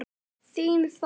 Þín Þóra.